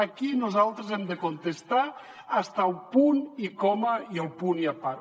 aquí nosaltres hem de contestar fins al punt i coma i el punt i a part